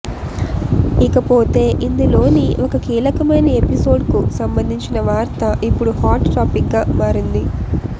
ఇకపోతే ఇందులోని ఒక కీలకమైన ఎపిసోడ్కు సంబంధించిన వార్త ఇప్పుడు హాట్ టాపిక్గా మారింది